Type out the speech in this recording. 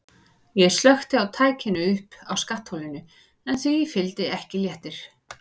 Ég slökkti á tækinu uppi á skattholinu en því fylgdi ekki léttir.